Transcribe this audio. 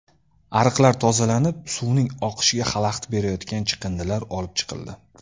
Ariqlar tozalanib, suvning oqishiga xalaqit berayotgan chiqindilar olib chiqildi.